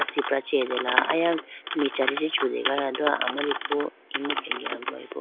Asipra chi atele aya michari chi chutegala do amariku imu khenge agugayi bo.